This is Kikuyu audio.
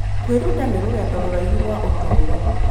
Kwĩruta nĩ rũgendo rũraihu rwa ũtũũro.